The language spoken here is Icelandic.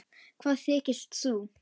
Hvað þykist þú.